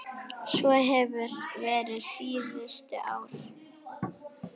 Svo hefur verið síðustu ár.